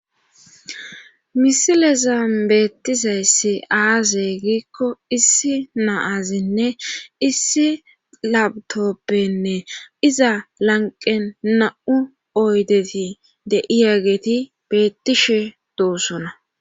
misilezan beettizaysse aaze giikko issi naazinne issi labtoppenne iza lanqe na7u oydeti de7iya geeti bettishe dosona